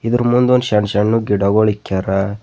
ಇದರ ಮುಂದ್ ಒಂದು ಶಣ್ ಶಣ್ ಗಿಡಗಳು ಇಕ್ಯಾರ.